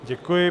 Děkuji.